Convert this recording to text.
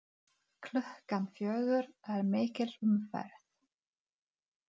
Klukkan fjögur er mikil umferð.